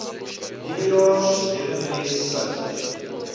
nuwejaars heuningnes sout